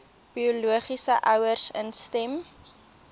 biologiese ouers instem